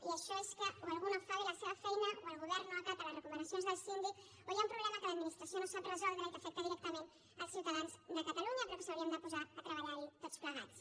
i això és que o algú no fa bé la seva feina o el govern no acata les recomanacions del síndic o hi ha un problema que l’administració no sap resoldre i que afecta directament els ciutadans de catalunya però que ens hauríem de posar a treballarhi tots plegats